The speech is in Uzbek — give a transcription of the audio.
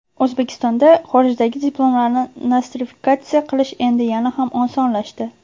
O‘zbekistonda xorijdagi diplomlarni nostrifikatsiya qilish endi yana ham osonlashdi.